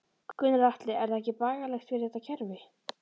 Gunnar Atli: Er það ekki bagalegt fyrir þetta kerfi?